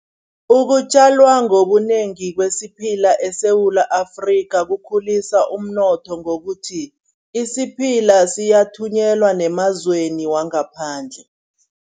Ukutjalwa ngobunengi kwesiphila eSewula Afrika kukhulisa umnotho ngokuthi, isiphila siyathunyelwa nemazweni wangaphandle.